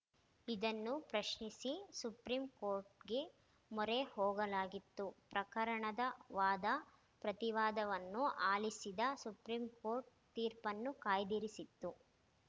ಇದನ್ನು ಪ್ರಶ್ನಿಸಿ ಸುಪ್ರೀಂ ಕೋರ್ಟ್‌ಗೆ ಮೊರೆ ಹೋಗಲಾಗಿತ್ತು ಪ್ರಕರಣದ ವಾದ ಪ್ರತಿವಾದವನ್ನು ಆಲಿಸಿದ ಸುಪ್ರೀಂ ಕೋರ್ಟ್ ತೀರ್ಪನ್ನು ಕಾಯ್ದಿರಿಸಿತ್ತು